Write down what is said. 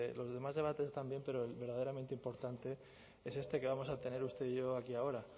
los demás debates también pero el verdaderamente importante es este que vamos a tener usted y yo aquí ahora